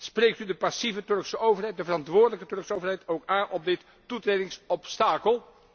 spreekt u de passieve Turkse overheid, de verantwoordelijke Turkse overheid ook aan op dit toetredingsobstakel?